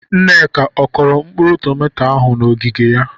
Nneka, ọ kụrụ mkpụrụ tomato ahụ n'ogige ya?